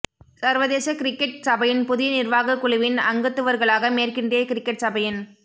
சர்வதேசக் cricket சபையின் புதிய நிர்வாகக் குழுவின் அங்கத்துவர்களாக மேற்கிந்திய கிரிக்கெட் சபையின்